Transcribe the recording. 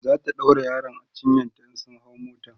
zata ɗaura yaron a cinyanta in sun hau mota